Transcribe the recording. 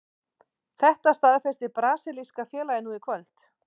Þetta staðfesti brasilíska félagið nú í kvöld.